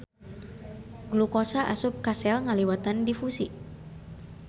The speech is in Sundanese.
Glukosa asup ka sel ngaliwatan difusi.